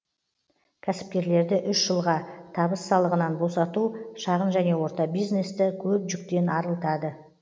кәсіпкерлерді үш жылға табыс салығынан босату шағын және орта бизнесті көп жүктен арылтады